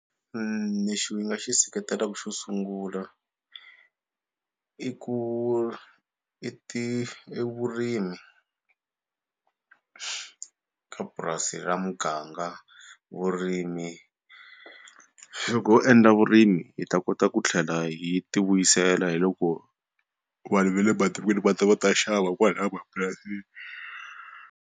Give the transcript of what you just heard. Lexi ni nga xi seketelaka xo sungula i ku i ti i vurimi ka purasi ka muganga vurimi loko ho endla vurimi hi ta kota ku tlhela yi ti vuyisela hi loko vanhu va le matikweni va ta va ta xava kwalaya mapurasini.